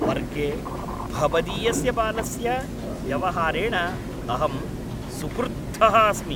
वर्गे भवदीयस्य बालस्य व्यवहारेण अहं सुक्रुद्धः अस्मि!